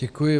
Děkuji.